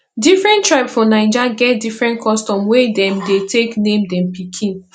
different tribe for naija get different custom wey dem dey take name dem pikin